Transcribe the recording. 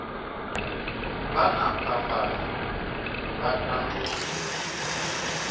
vha na phambano vha tandulula